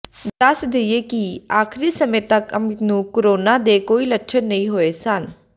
ਦੱਸ ਦੇਈਏ ਕਿ ਆਖਰੀ ਸਮੇਂ ਤੱਕ ਅਮਿਤ ਨੂੰ ਕੋਰੋਨਾ ਦੇ ਕੋਈ ਲੱਛਣ ਨਹੀਂ ਹੋਏ ਸਨ